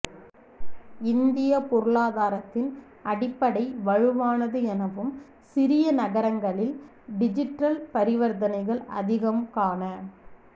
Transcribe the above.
இந்திய பொருளாதாரத்தின் அடிப்படை வலுவானது எனவும் சிறிய நகரங்களில் டிஜிற்றல் பரிவர்த்தனைகள் அதிகம் காண